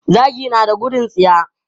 Zaki na da gudun tsiya.